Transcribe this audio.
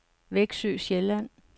Veksø Sjælland